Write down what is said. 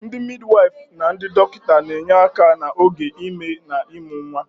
Ndị midiwyfụ na ndị dọkịta na-enye aka n'oge ime na ịmụ nwa.